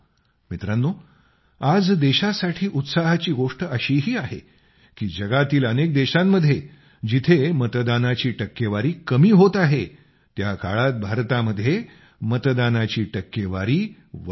मित्रांनो आज देशासाठी उत्साहाची गोष्ट अशीही आहे की जगातील अनेक देशांमध्ये जिथं मतदानाची टक्केवारी कमी होत आहे त्या काळात भारतामध्ये मतदानाची टक्केवारी वाढत आहे